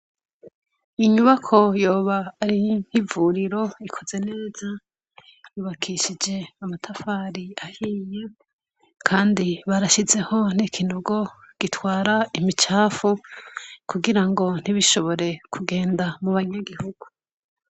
Inyubako yoba ari nk'ivuriro ikoze neza yubakishije amatafari ahiye kandi barashizeho n'ikinogo gitwara imicafu kugira ngo ntibishobore kugenda mu banyagihugu.